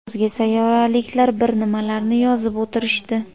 O‘zga sayyoraliklar bir nimalarni yozib o‘tirishdi.